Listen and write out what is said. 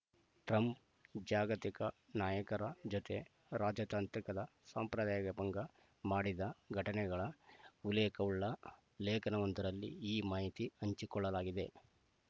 Trump ಜಾಗತಿಕ ನಾಯಕರ ಜೊತೆ ರಾಜತಾಂತ್ರಿಕದ ಸಂಪ್ರದಾಯಭಂಗ ಮಾಡಿದ ಘಟನೆಗಳ ಉಲ್ಲೇಖವುಳ್ಳ ಲೇಖನವೊಂದರಲ್ಲಿ ಈ ಮಾಹಿತಿ ಹಂಚಿಕೊಳ್ಳಲಾಗಿದೆ